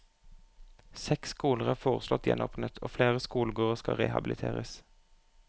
Seks skoler er foreslått gjenåpnet og flere skolegårder skal rehabiliteres.